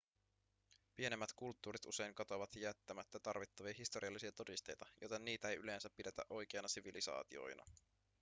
pienemmät kulttuurit usein katoavat jättämättä tarvittavia historiallisia todisteita joten niitä ei yleensä pidetä oikeina sivilisaatioina